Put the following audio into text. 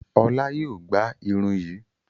Ọlá yóò gbá irun yìí.